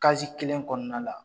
kelen kɔnɔna la.